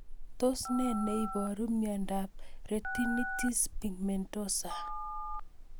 Tos nee neiparu miondop Retinitis pigmentosa